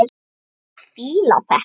Ég fíla þetta.